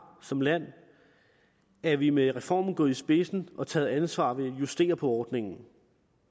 som land er vi med reformen gået i spidsen og har taget ansvar ved at justere på ordningen